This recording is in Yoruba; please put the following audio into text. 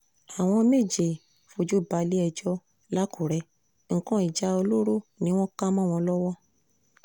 àwọn méje fojú balẹ̀-ẹjọ́ làkùrẹ́ nǹkan ìjà olóró ni wọ́n ká mọ́ wọn lọ́wọ́